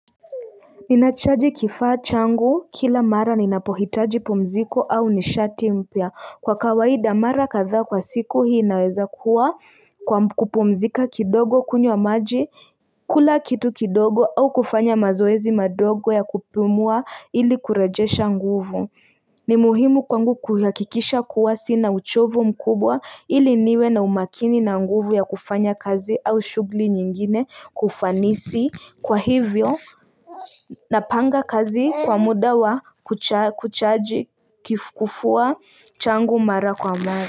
Ninachaji kifaa changu kila mara ninapohitaji pumziko au nishati mpya. Kwa kawaida mara kadhaa kwa siku inaweza kuwa kupumzika kidogo, kunywa maji, kula kitu kidogo au kufanya mazoezi madogo ya kupumua ili kurejesha nguvu. Ni muhimu kwangu kuhakikisha kuwa sina uchovu mkubwa ili niwe na umakini na nguvu ya kufanya kazi au shughuli nyingine kwa ufanisi. Kwa hivyo napanga kazi kwa muda wa kuchaji kifua changu mara kwa mara.